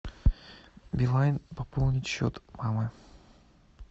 билайн пополнить счет мамы